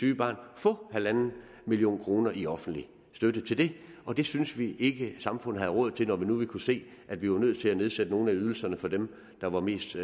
syge barn få en million kroner i offentlig støtte til det det synes vi ikke at samfundet har råd til når nu vi kunne se at vi var nødt til at nedsætte nogle af ydelserne for dem der var mest